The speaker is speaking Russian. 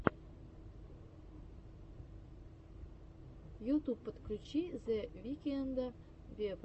ютюб подключи зе викнда вево